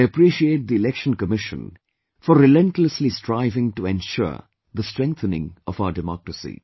I appreciate the Election Commission for relentlessly striving to ensure the strengthening of our democracy